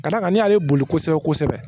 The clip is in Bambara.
Ka d'a kan n' y'ale boli kosɛbɛ kosɛbɛ